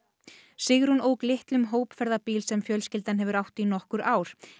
Sigrún ók litlum hópferðabíl sem fjölskyldan hefur átt í nokkur ár